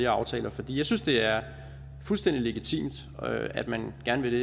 aftaler for jeg synes det er fuldstændig legitimt at man gerne vil det